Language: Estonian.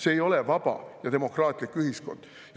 See ei ole vaba ja demokraatlik ühiskond!